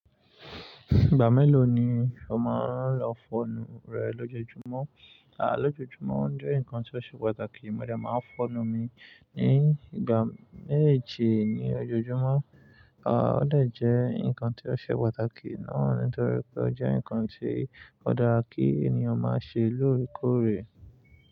Ìgbà mélòó ni o máa ń lọ fọnu rẹ lójoójúmọ́? À, lójoójúmọ́ ń jẹ́ nǹkan tó ṣe pàtàkì, mo dè máa ń fọnu mi ní ìgbà méjì ní ojoojúmọ́. À, ó dè jẹ́ nǹkan tí ó ṣe pàtàkì náà nítorí pé ó jẹ́ nǹkan tí ó dára kí ènìyàn máa ṣe lóòrèkóòrè.